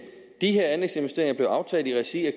de her anlægsinvesteringer blev aftalt i regi af